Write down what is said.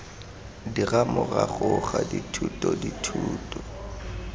dira morago ga dithuto dithuto